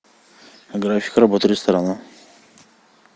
график работы ресторана